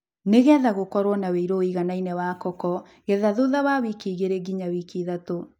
Nĩgetha gũkorwo na wĩru wĩiganaine wa koko, getha thutha wa wiki igĩrĩ nginya ithatu.